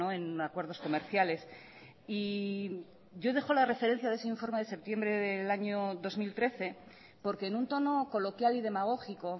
en acuerdos comerciales y yo dejo la referencia de ese informe de septiembre del año dos mil trece porque en un tono coloquial y demagógico